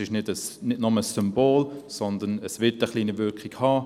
Es ist nicht nur ein Symbol, sondern es wird eine kleine Wirkung haben.